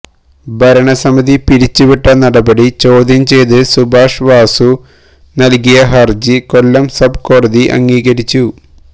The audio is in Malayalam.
ഭരണസമിതി പിരിച്ചുവിട്ട നടപടി ചോദ്യം ചെയ്ത് സുഭാഷ് വാസു നല്കിയ ഹര്ജി കൊല്ലം സബ് കോടതി അംഗീകരിച്ചു